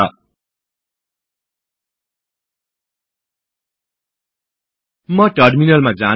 यसले फाइल को अन्तिम लाईनहरु डिफल्ट मा देखाउछ